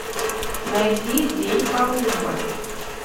найди день колумба